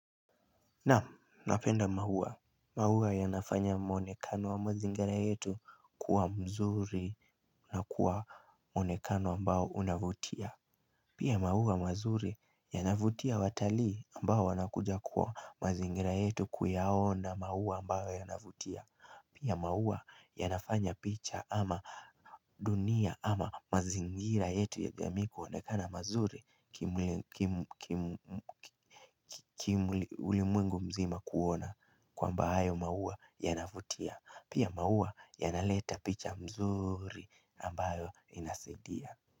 Naam, napenda maua, maua yanafanya muonekano wa mazingira yetu kuwa mzuri na kuwa muonekano ambao unavutia Pia maua mazuri yanavutia watalii ambao wanakuja kwa mazingira yetu kuyaona maua ambao yanavutia Pia maua yanafanya picha ama dunia ama mazingira yetu ya jamii kuonekana mazuri kiulimwengu mzima kuona kwamba hayo maua yanavutia Pia maua yanaleta picha mzuri ambayo inasaidia.